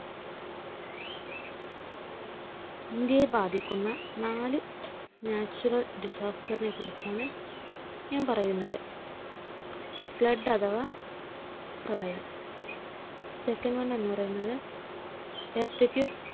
ഇന്ത്യയെ ബാധിക്കുന്ന നാല് Natural Disaster നെ കുറിച്ചാണ്ഞാൻ പറയുന്നത്. Flood അഥവാ പ്രളയം. Second one എന്ന് പറയുന്നത് Earthquakes.